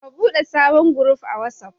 Ka ɓude sabon guruf a Watsaf.